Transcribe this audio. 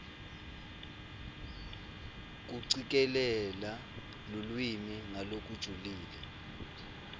kucikelela lulwimi ngalokujulile